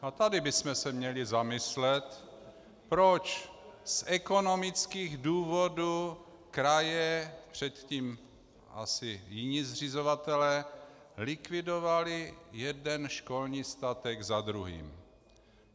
A tady bychom se měli zamyslet, proč z ekonomických důvodů kraje, předtím asi jiní zřizovatelé, likvidovaly jeden školní statek za druhým.